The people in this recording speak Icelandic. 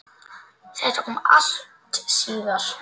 Þetta kom allt síðar.